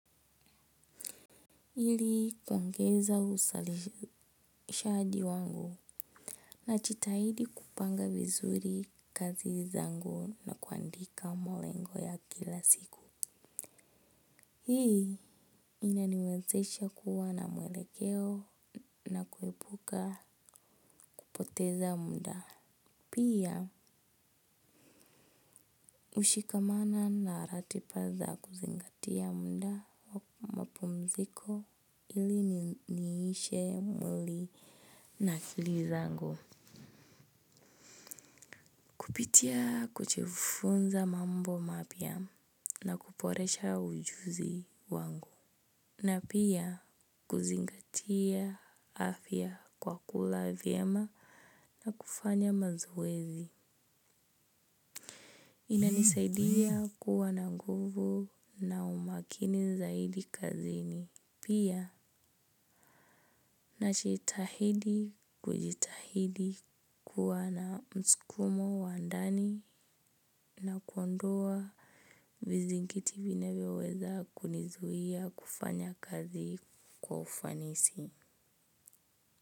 Ili kuongeza uzalishaji wangu najitahidi kupanga vizuri kazi zangu na kuandika malengo ya kila siku. Hii inaniwezesha kuwa na mwelekeo na kuepuka kupoteza muda. Pia hushikamana na ratiba za kuzingatia muda wa mapumziko ili niishe mwili na akili zangu. Kupitia kujifunza mambo mapya na kuboresha ujuzi wangu. Na pia kuzingatia afya kwa kula vyema na kufanya mazoezi. Inanisaidia kuwa na nguvu na umakini zaidi kazini. Pia najitahidi kujitahidi kuwa na msukumo wa ndani na kuondoa vizingiti vinavyoweza kunizuia kufanya kazi kwa ufanisi.